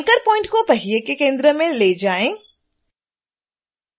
anchor point को पहिए के केंद्र में ले जाएं